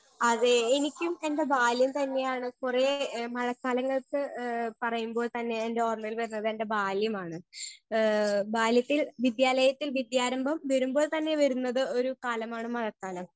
Speaker 1 അതെ എനിക്കും എന്റെ ബാല്യം തന്നെയാണ് കൊറേ മഴക്കാലങ്ങൾക്ക് ഏ പറയുമ്പോൾ തന്നെ എന്റെ ഓർമയിൽ വരുന്നതെന്റെ ബാല്യമാണ് ഏ ബാല്യത്തിൽ വിദ്യാലയത്തിൽ വിദ്യാരംഭം വെരുമ്പോൾ തന്നെ വെരുന്നത് ഒരു കാലമാണ് മഴക്കാലം.